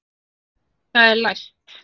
Það er læst!